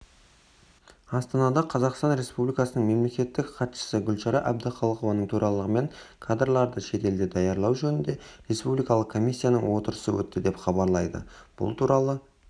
астанада қазақстан республикасының мемлекеттік хатшысы гүлшара әбдіқалықованың төрағалығымен кадрларды шетелде даярлау жөніндегі республикалық комиссияның отырысы өтті деп хабарлайды бұл туралы